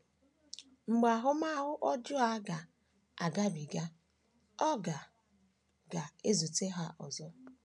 Mgbe ahụmahụ ọjọọ a ga - agabiga, ọ ga - ga - ezute ha ọzọ.